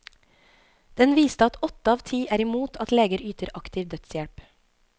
Den viste at åtte av ti er imot at leger yter aktiv dødshjelp.